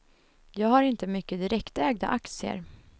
Jag har inte mycket direktägda aktier.